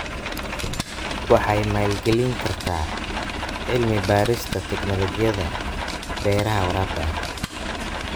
Waxay maalgelin kartaa cilmi-baarista tignoolajiyada beeraha waraabka ah.